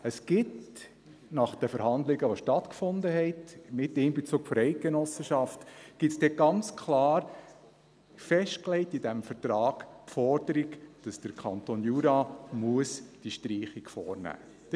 Es gibt nach den Verhandlungen, die stattgefunden haben, unter Einbezug der Eidgenossenschaft, ganz klar festgelegt in diesem Vertrag die Forderung, dass der Kanton Jura diese Streichung vornehmen muss.